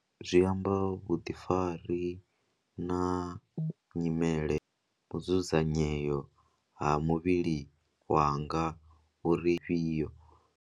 Zwi amba vhuḓifari na nyimele u dzudzanyeo ha muvhili wanga uri ifhio.